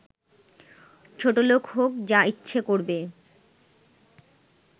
ছোটলোক হোক, যা ইচ্ছে করবে